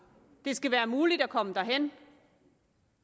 det skal være muligt at komme derhen